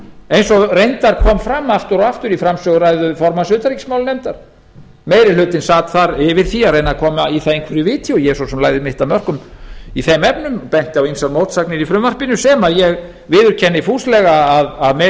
eins og reyndar kom fram aftur og aftur í framsöguræðu formanns utanríkismálanefndar meiri hlutinn sat þar yfir því að reyna að koma í það einhverju viti og ég lagði svo sem mitt af mörkum í þeim efnum benti á ýmsar mótsagnir í því sem ég viðurkenni fúslega að meiri